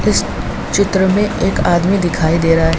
इस चित्र में एक आदमी दिखाई दे रहा है।